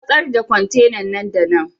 Ku masar da kwantenan nan da nan!